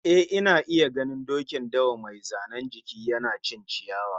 Eh, ina iya ganin dokin dawan mai zanen jiki, yana cin ciyawa